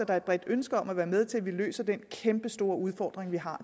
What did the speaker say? er et bredt ønske om at være med til at løse den kæmpe store udfordring vi har